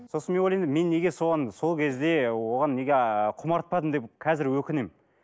сосын мен ойлаймын мен неге соған сол кезде оған неге ы құмартпадым деп қазір өкінемін